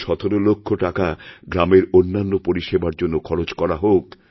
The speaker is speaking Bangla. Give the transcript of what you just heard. এই ১৭ লক্ষ টাকাগ্রামের অন্যান্য পরিষেবার জন্য খরচ করা হোক